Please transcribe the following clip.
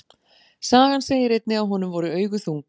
Sagan segir einnig að honum voru augu þung.